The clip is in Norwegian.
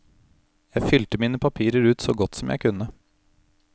Jeg fylte mine papirer ut så godt som jeg kunne.